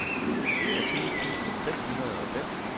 enogtyve tusind fem hundrede og fem